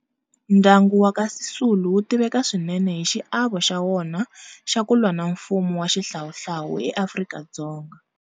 Ndyangu wa ka Sisulu wu tiveka swinene hi xiavo xa wona xa ku lwa na mfumo wa Xihlawuhlawu eAfrika-Dzonga.